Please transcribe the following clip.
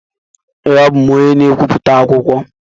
Ee, abụ m onye na-ebipụta akwụkwọ.